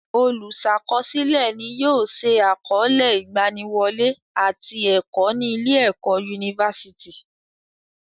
Olùsàkọsílẹ̀ ni yóò se àkọọlẹ ìgbaniwọlé àti ẹ̀kọ́ ní ilé ẹ̀kọ́ yunifásítì.